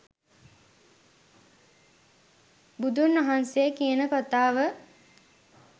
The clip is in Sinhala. බුදුන් වහන්සේ කියන කථාව